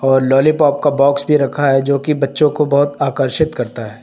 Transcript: और लॉलीपॉप का बॉक्स भी रखा है जो कि बच्चों को बहोत आकर्षित करता है।